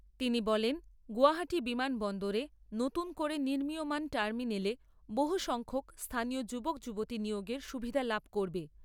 তিনি বলেন গৌহাটী বিমানবন্দরে নতুন করে নির্মীয়মাণ টার্মিনেলে বহু সংখ্যক স্থানীয় যুবক যুবতী নিয়োগের সুবিধা লাভ করবে।